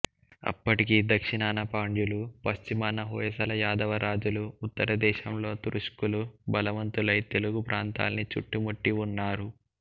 అప్పటికి దక్షిణాన పాండ్యులు పశ్చిమాన హొయసల యాదవ రాజులు ఉత్తరదేశంలో తురుష్కులు బలవంతులై తెలుగుప్రాంతాన్ని చుట్టుముట్టి ఉన్నారు